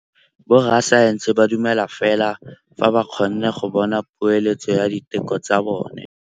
Borra saense ba dumela fela fa ba kgonne go bona poeletsô ya diteko tsa bone.